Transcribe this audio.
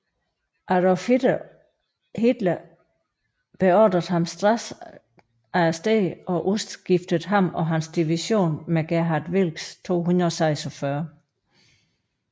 Adolf Hitler beordrede ham straks arresteret og udskiftede ham og hans division med Gerhard Wilcks 246